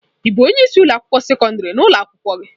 Ị bụ onye isi ụlọ akwụkwọ sekọndrị na ụlọ akwụkwọ gị?